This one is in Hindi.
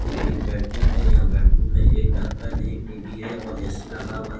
ये एक बेडरूम है यहां बेडरूम में एक ढकन है एक टी_वी है और ए_सी लगा हुआ--